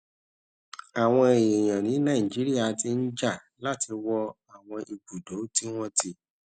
àwọn èèyàn ní nàìjíríà ti ń jà láti wọ àwọn ibùdó tí wón ti